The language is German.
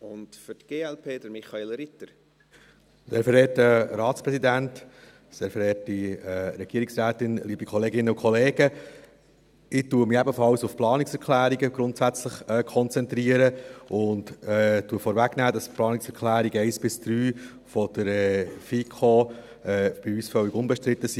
Ich konzentriere mich ebenfalls grundsätzlich auf die Planungserklärungen und nehme vorweg, dass die Planungserklärungen 1–3 der FiKo bei uns völlig unbestritten sind.